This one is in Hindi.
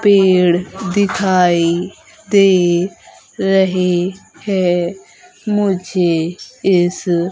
पेड़ दिखाई दे रहे हैं मुझे इस--